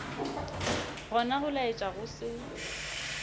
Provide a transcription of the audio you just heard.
gona go laetša go se